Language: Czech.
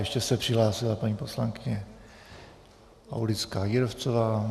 Ještě se přihlásila paní poslankyně Aulická Jírovcová.